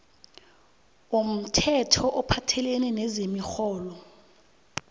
womthetho ophathelene nezemirholo